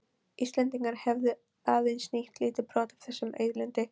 Íslendingar hefðu aðeins nýtt lítið brot af þessum auðlindum.